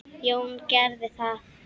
Jón gerði það.